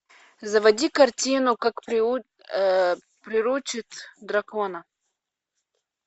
заводи картину как приручить дракона